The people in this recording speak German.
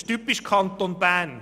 Das ist typisch Kanton Bern: